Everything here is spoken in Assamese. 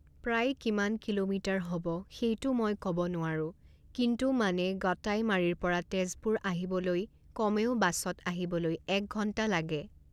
প্ৰায় কিমান কিলোমিটাৰ হ'ব সেইটো মই ক'ব নোৱাৰোঁ কিন্তু মানে গটাইমাৰিৰ পৰা তেজপুৰ আহিবলৈই কমেও বাছত আহিবলৈ এক ঘণ্টা লাগে